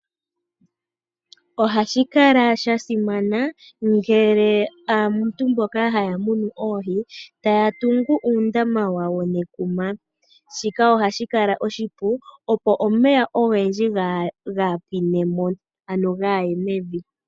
Ohashi kala sha simana ngele aantu mboka haya munu oohi taya tungu uundama wawo nekuma, shika ohashi kala oshipu opo omeya ogendji gaapwine mo ano gaye mevi.